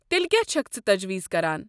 تیٚلہِ کیٛاہ چھکھ ژٕ تجویز كران؟